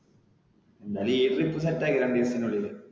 എന്തായാലും ഈ trip set ആക്ക് രണ്ടുദിവസത്തിനുള്ളില്.